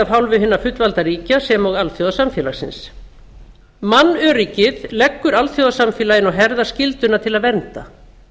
af hálfu hinna fullvalda ríkja sem og alþjóðasamfélagsins mannöryggið leggur alþjóðasamfélaginu á herðar skylduna til að vernda